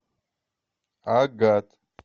агат